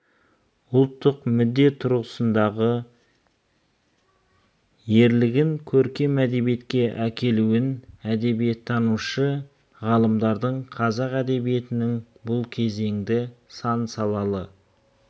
ұлттық мүдде тұрғысындағы ерлігін көркем әдебиетке әкелуін әдебиеттанушы ғалымдардың қазақ әдебиетінің бұл кезеңді сан салалы